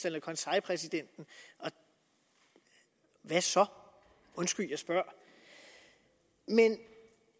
eller konseilspræsidenten og hvad så undskyld jeg spørger men